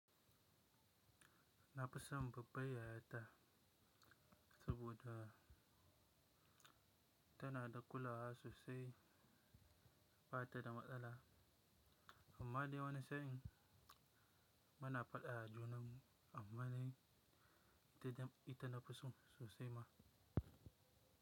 Na fison babbabar yayata, saboda Tana da kulawa sosai batada matsala Ammadai wani sa in muna fada ajunanmu, ammadai ita ita nafiso sosaima.